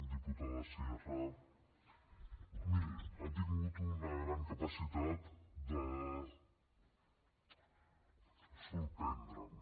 diputada sierra miri ha tingut una gran capacitat de sorprendre’m